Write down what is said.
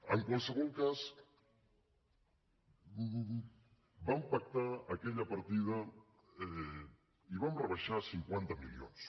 en qualsevol cas vam pactar aquella partida i ho vam rebaixar a cinquanta milions